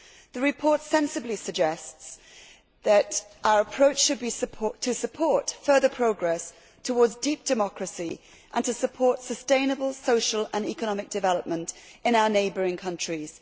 The report sensibly suggests that our approach should be to support further progress towards deep democracy and to support sustainable social and economic development in our neighbouring countries.